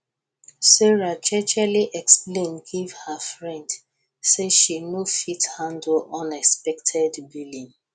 sarah jejely explain give her friend say she no fit handle unexpected billing